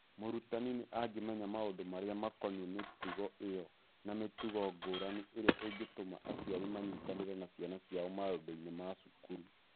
Mũrutani nĩ amenyaga maũndũ marĩa makoniĩ mĩtugo ĩyo na mĩtugo ngũrani ĩrĩa ĩngĩtũma aciari manyitanĩre na ciana ciao maũndũ-inĩ ma cukuru.